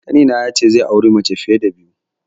Ƙanina ya ce zai auri mace fiye da biyu.